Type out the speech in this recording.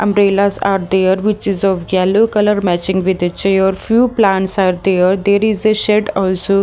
Umbrellas are there which is of yellow color matching with the chair few plants are there there is a shed also.